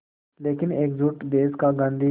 लेकिन एकजुट देश का गांधी